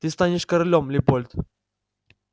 ты станешь королём лепольд